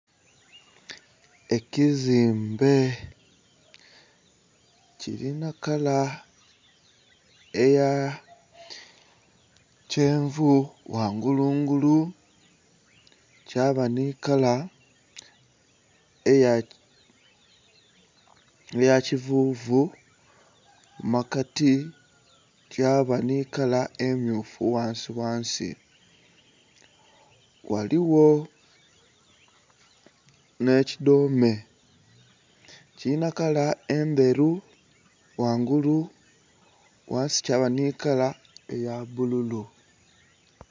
Ekizimbe kilinha kala eya kyenvu ghangulu ngulu kyaba nhi kala eya kivuvu mu makati kyaba nhi kala emyufu ghansi ghansi. Ghaligho nhe kidhome kilinha kala endheru ghangulu ghansi kyaba nhi kala eya bbululu.